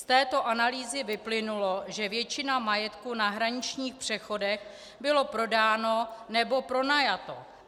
Z této analýzy vyplynulo, že většina majetku na hraničních přechodech byla prodána nebo pronajata.